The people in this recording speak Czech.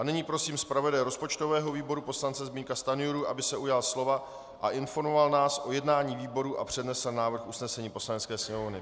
A nyní prosím zpravodaje rozpočtového výboru poslance Zbyňka Stanjuru, aby se ujal slova a informoval nás o jednání výboru a přednesl návrh usnesení Poslanecké sněmovny.